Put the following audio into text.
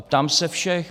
A ptám se všech.